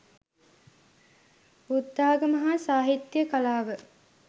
බුද්ධාගම හා සාහිත්‍ය කලාව